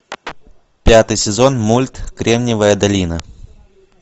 пятый сезон мульт кремниевая долина